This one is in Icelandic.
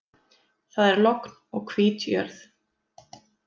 Það er logn og hvít jörð.